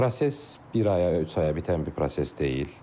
Proses bir aya və ya üç aya bitən bir proses deyil.